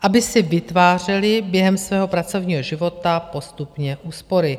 aby si vytvářeli během svého pracovního života postupně úspory.